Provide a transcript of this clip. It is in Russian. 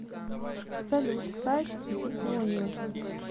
салют сайт диклониус